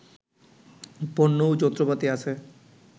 পণ্য ও যন্ত্রপাতি আছে